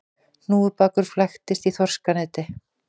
Hnúfubakur flæktist í þorskaneti